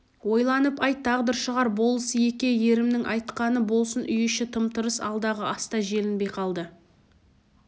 ойланып айт тағдыр шығар болыс-еке ерімнің айтқаны болсын үй іші тым-тырыс алдағы ас та желінбей қалды